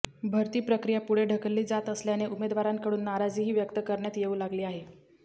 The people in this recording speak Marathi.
भरती प्रक्रिया पुढे ढकलली जात असल्याने उमेदवारांकडून नाराजीही व्यक्त करण्यात येऊ लागली आहे